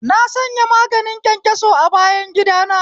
Na sanya maganin kyankyaso a bayangida na